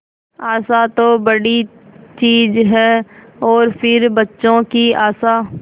आशा तो बड़ी चीज है और फिर बच्चों की आशा